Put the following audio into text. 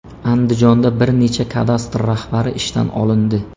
Andijonda bir necha kadastr rahbari ishdan olindi.